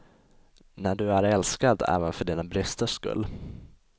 När du är älskad även för dina bristers skull.